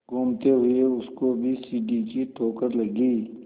घूमते हुए उसको भी सीढ़ी की ठोकर लगी